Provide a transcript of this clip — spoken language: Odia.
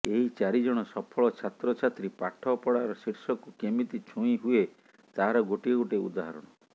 ଏହି ଚାରିଜଣ ସଫଳ ଛାତ୍ରଛାତ୍ରୀ ପାଠପଢାର ଶୀର୍ଷକୁ କେମିତି ଛୁଇଁ ହୁଏ ତାହାର ଗୋଟିଏ ଗୋଟିଏ ଉଦାହରଣ